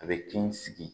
A bɛ kin sigi